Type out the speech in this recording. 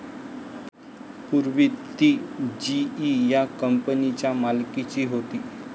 पूर्वी ती जीई या कंपनीच्या मालकीची होती.